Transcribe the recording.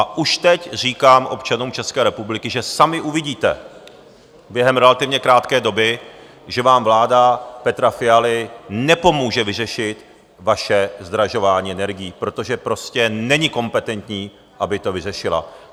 A už teď říkám občanům České republiky, že sami uvidíte během relativně krátké doby, že vám vláda Petra Fialy nepomůže vyřešit vaše zdražování energií, protože prostě není kompetentní, aby to vyřešila.